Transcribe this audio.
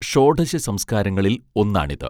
ഷോഢശ സംസ്കാരങ്ങളിൽ ഒന്നാണിത്